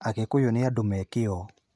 Agĩkũyũ nĩ andũ me kĩyo